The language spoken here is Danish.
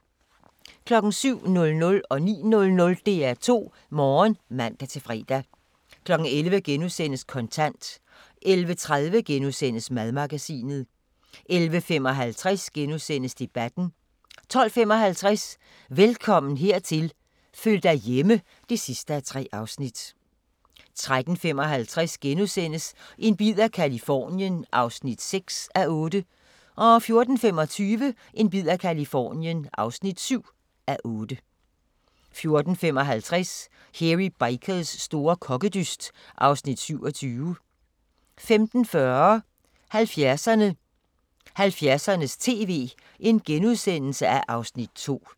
07:00: DR2 Morgen (man-fre) 09:00: DR2 Morgen (man-fre) 11:00: Kontant * 11:30: Madmagasinet * 11:55: Debatten * 12:55: Velkommen hertil – føl dig hjemme (3:3) 13:55: En bid af Californien (6:8)* 14:25: En bid af Californien (7:8) 14:55: Hairy Bikers store kokkedyst (Afs. 27) 15:40: 70'erne: 1970'ernes tv (Afs. 2)*